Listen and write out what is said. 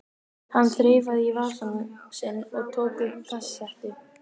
Hann þreifaði í vasann sinn og tók upp kassettu.